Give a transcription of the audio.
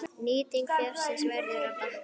Nýting fjárins verður að batna.